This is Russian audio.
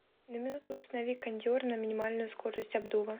на минуту установи кондер на минимальную скорость обдува